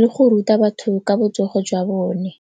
le go ruta batho ka botsogo jwa bone.